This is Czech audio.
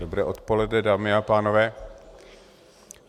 Dobré odpoledne, dámy a pánové.